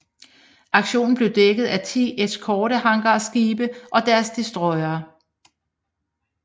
Aktionen blev dækket af 10 eskortehangarskibe og deres destroyere